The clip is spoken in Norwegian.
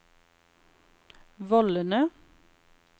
vollene